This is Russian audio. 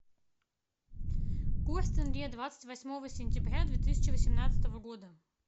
курс тенге двадцать восьмого сентября две тысячи восемнадцатого года